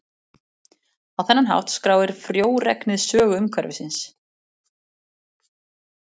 Á þennan hátt skráir frjóregnið sögu umhverfisins.